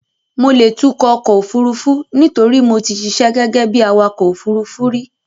Mo lè tukọ̀ ọkọ̀ òfurufú nítorí mo ti ṣiṣẹ́ gẹ́gẹ́ bí awakọ̀ òfurufú rí.